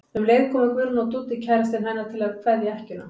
Um leið komu Guðrún og Dúddi kærastinn hennar til að kveðja ekkjuna.